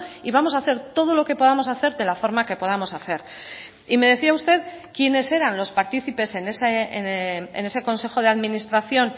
y vamos a hacer todo lo que podamos hacer de la forma que podamos hacer y me decía usted quiénes eran los partícipes en ese consejo de administración